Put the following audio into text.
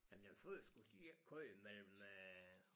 Jamen de første skulle de ikke køre mellem øh